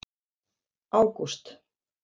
ágúst